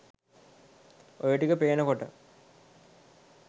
ඔය ටික පේනකොට